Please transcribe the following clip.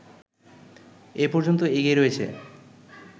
এ পর্যন্ত এগিয়ে রয়েছে